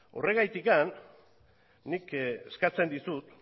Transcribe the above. horregatik nik eskatzen dizut